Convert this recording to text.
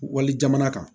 Wali jamana kan